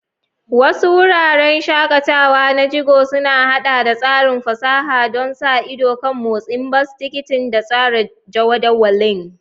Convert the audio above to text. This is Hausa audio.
Wasu wuraren shakatawa na jigo sun haɗa da tsarin fasaha don sa ido kan motsin bas, tikitin, da tsara jadawalin.